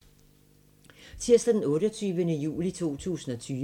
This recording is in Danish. Tirsdag d. 28. juli 2020